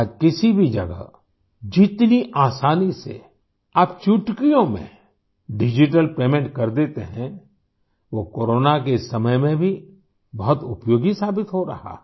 आज किसी भी जगह जितनी आसानी से आप चुटकियों में डिजिटल पेमेंट कर देते हैं वो कोरोना के इस समय में भी बहुत उपयोगी साबित हो रहा है